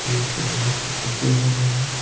तो ये सब बहुत ही खुशी हो रहे हैं।